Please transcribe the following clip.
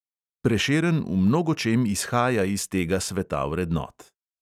Prešeren v mnogočem izhaja iz tega sveta vrednot.